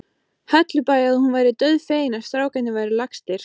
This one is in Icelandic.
Hellubæ að hún væri dauðfegin að strákarnir væru lagstir.